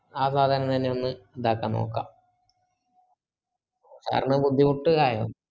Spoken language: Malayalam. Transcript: ആ സാധനം തന്നെ ഒന്ന് ഇതാക്കാനൊക്കാ sir ന് ബുദ്ധിമുട്ടായിയോ